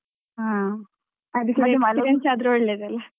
ಹ ಮತ್ತೆ ಅದಕ್ಕೆ experience ಆದ್ರೆ ಒಳ್ಳೇದಲ